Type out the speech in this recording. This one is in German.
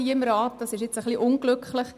Das ist ein bisschen unglücklich.